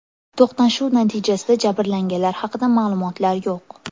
To‘qnashuv natijasida jabrlanganlar haqida ma’lumotlar yo‘q.